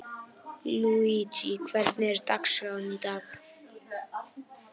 Illugi, hvernig er dagskráin í dag?